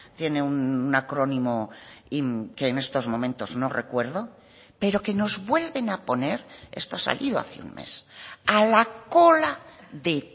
tiene un acrónimo que en estos momentos no recuerdo pero que nos vuelven a poner esto ha salido hace un mes a la cola de